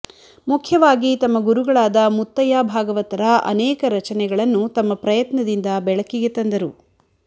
ಮುಖ್ಯವಾಗಿ ತಮ್ಮ ಗುರುಗಳಾದ ಮುತ್ತಯ್ಯ ಭಾಗವತರ ಅನೆಕ ರಚನೆಗಳನ್ನು ತಮ್ಮ ಪ್ರಯತ್ನದಿಂದ ಬೆಳಕಿಗೆ ತಂದರು